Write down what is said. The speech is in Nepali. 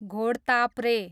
घोडताप्रे